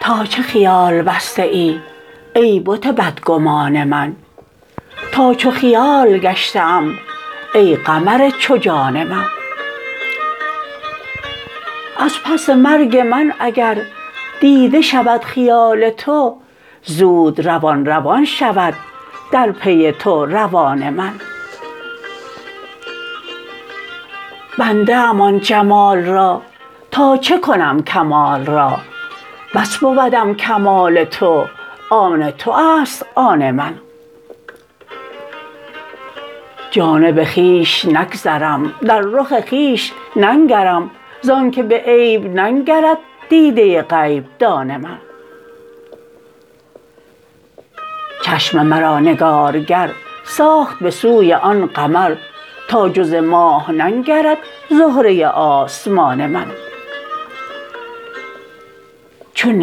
تا چه خیال بسته ای ای بت بدگمان من تا چو خیال گشته ام ای قمر چو جان من از پس مرگ من اگر دیده شود خیال تو زود روان روان شود در پی تو روان من بنده ام آن جمال را تا چه کنم کمال را بس بودم کمال تو آن تو است آن من جانب خویش نگذرم در رخ خویش ننگرم زانک به عیب ننگرد دیده غیب دان من چشم مرا نگارگر ساخت به سوی آن قمر تا جز ماه ننگرد زهره آسمان من چون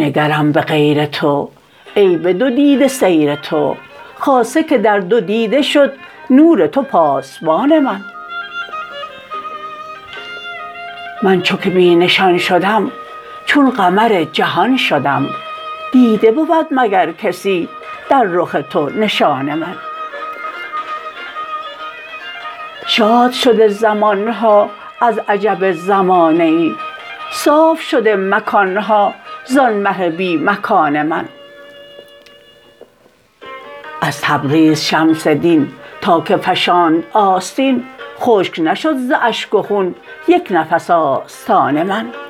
نگرم به غیر تو ای به دو دیده سیر تو خاصه که در دو دیده شد نور تو پاسبان من من چو که بی نشان شدم چون قمر جهان شدم دیده بود مگر کسی در رخ تو نشان من شاد شده زمان ها از عجب زمانه ای صاف شده مکان ها زان مه بی مکان من از تبریز شمس دین تا که فشاند آستین خشک نشد ز اشک و خون یک نفس آستان من